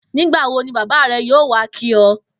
Nígbà wo ni bábá rè̩ yóò wá kí o̩?